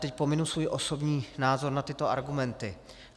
Teď pominu svůj osobní názor na tyto argumenty.